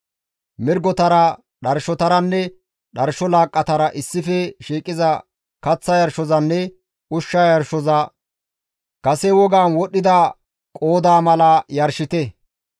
Mirgotara, dharshotaranne dharsho laaqqatara issife shiiqiza kaththa yarshozanne ushsha yarshoza kase wogaan wodhdhida qoodaa mala yarshite.